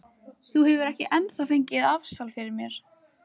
Þú hefur ekki ennþá fengið afsal fyrir mér.